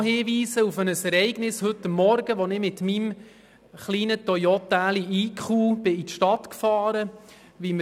Ich möchte auch noch auf ein Ereignis von heute Morgen hinweisen, als ich mit meinem kleinen Toyota eQ in die Stadt gefahren bin.